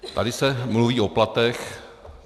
Tady se mluví o platech.